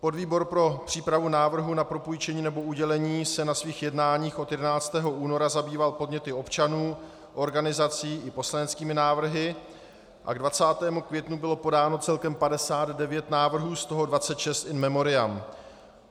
Podvýbor pro přípravu návrhu na propůjčení nebo udělení se na svých jednáních od 11. února zabýval podněty občanů, organizací i poslaneckými návrhy a k 20. květnu bylo podáno celkem 59 návrhů, z toho 26 in memoriam.